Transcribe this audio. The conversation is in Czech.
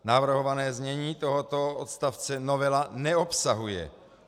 Navrhované znění tohoto odstavce novela neobsahuje.